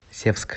севск